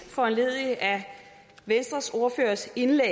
foranlediget af venstres ordførers indlæg